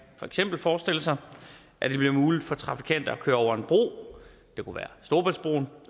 for eksempel forestille sig at det bliver muligt for trafikanter at køre over en bro det kunne være storebæltsbroen